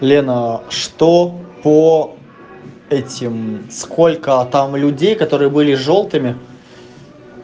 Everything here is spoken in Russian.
лена что по этим сколько там людей которые были жёлтыми